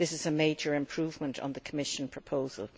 This is a major improvement on the Commission proposal.